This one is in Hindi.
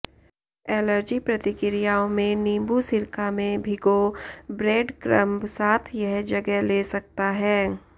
एलर्जी प्रतिक्रियाओं में नींबू सिरका में भिगो ब्रेडक्रंब साथ यह जगह ले सकता है